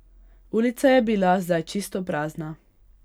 Ulica je bila zdaj čisto prazna.